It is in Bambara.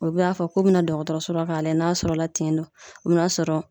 U be a fɔ k'u bina dɔgɔtɔrɔso la k'a lajɛ n'a sɔrɔla tin don o bi n'a sɔrɔ